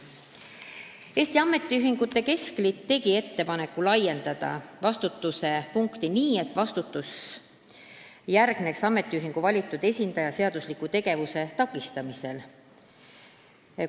Eesti Ametiühingute Keskliit tegi ettepaneku laiendada vastutuse punkti nii, et vastutus järgneks ametiühingu valitud esindaja seadusliku tegevuse takistamise korral.